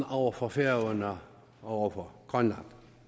over for færøerne og grønland